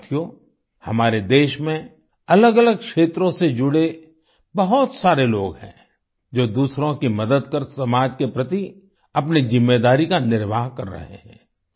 साथियो हमारे देश में अलगअलग क्षेत्रों से जुड़े बहुत सारे लोग हैं जो दूसरों की मदद कर समाज के प्रति अपनी जिम्मेदारी का निर्वाह कर रहे हैं